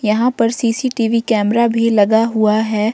यहां पर CCTV camera भी लगा हुआ है।